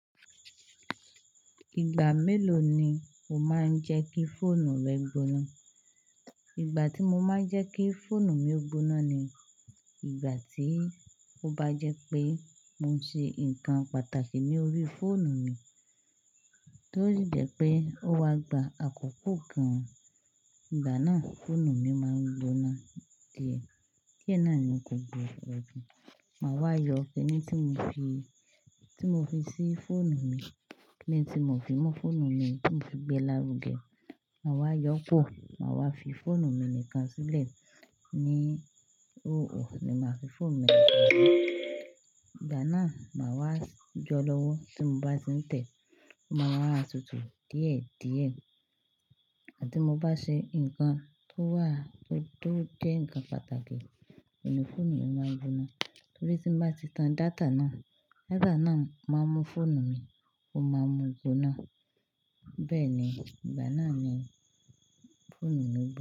Ìgbà mélòó ni o máa ń jẹ́ kí fóònù rẹ gbóná? Ìgbà tí mo máa ń jẹ́ kí fóònù mi ó gbóná ni ìgbà tí ó bá jẹ́ pé mo ń ṣe ǹkan pàtàkì ní orí fóònù mi, tó sì jẹ́ pé ó wa gba àkókò kan. Ìgbà náà, fóònù mi máa ń gbóná díẹ̀. Kí è náà ni o kò gbọdọ̀ ju? Máa wá yọ ẹni tí mo fi, tí mo fi sí fóònù mi, lẹ́ẹ̀n tí mo fi mú fóònù mi, tí mo fi gbé lárùn gé. Máa wá yọ pọ̀, máa wá fi fóònù mi nìkan sílẹ̀. Ni óò ni màá fi fóònù mi gbóná. Ìgbà náà, màá wá yó lọ́wọ́ tí mo bá ti ń tẹ̀. Ó máa wá tutù díẹ̀ díẹ̀. Àti mo bá ṣe ǹkan tó wà, tó, tó jẹ́ ǹkan pàtàkì, oni fóònù yen máa ń gbóná. Torí tí mo bá ti tan data náà, data náà máa ń mú fóònù mi, ó máa ń mú ó gbóná. Bẹ́ẹ̀ ni, ìgbà náà ni fóònù mi ń gbóná.